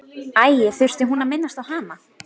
Æi, þurfti hún að minnast á hana?